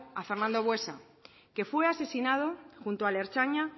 a fernando buesa que fue asesinado juntos al ertzaina